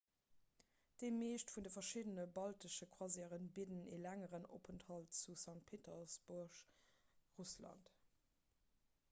déi meescht vun de verschiddene baltesche croisièren bidden e längeren openthalt zu st. petersburg russland